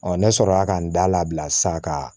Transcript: ne sɔrɔ la ka n da labila sisan ka